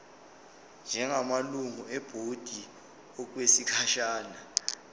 njengamalungu ebhodi okwesikhashana